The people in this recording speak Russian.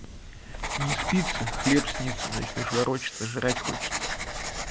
не спится хлеб снится начнёшь ворочаться жрать хочется